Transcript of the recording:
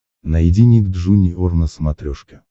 найди ник джуниор на смотрешке